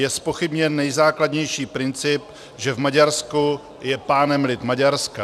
Je zpochybněn nejzákladnější princip, že v Maďarsku je pánem lid Maďarska.